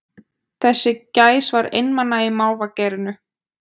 Þessi gæs var einmana í mávagerinu